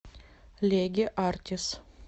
леге артис